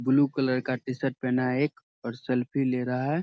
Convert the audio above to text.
Blue colour का T-shirt पहना है एक और सेल्फी ले रहा है।